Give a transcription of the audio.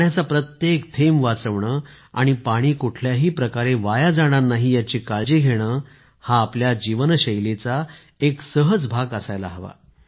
पाण्याचा प्रत्येक थेंब वाचवणे आणि पाणी कुठल्याही प्रकारे वाया जाणार नाही याची काळजी घेणे हा आपल्या जीवनशैलीचा एक सहज भाग असायला हवा